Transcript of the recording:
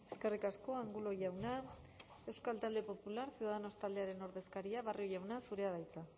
eskerrik asko angulo jauna euskal talde popular ciudadanos taldearen ordezkaria barrio jauna zurea da hitza